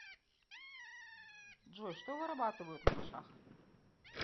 джой что вырабатывают на мышах